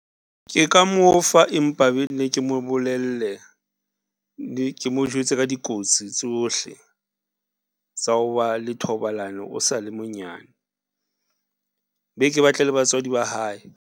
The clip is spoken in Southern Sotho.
Ke ka mo fa empa be nne ke mo bolelle le ke mo jwetse ka dikotsi tsohle tsa ho ba le thobalano o sale monyane be ke batle le batswadi ba hae.